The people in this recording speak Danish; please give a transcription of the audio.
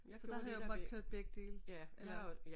Så der havde jeg åbenbart kørt begge dele eller